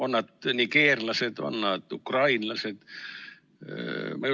On nad nigeerlased, on nad ukrainlased?